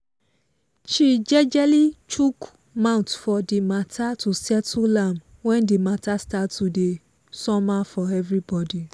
she jejely chook mouth for the mata to settle am when the mata start to dey somehow for everybody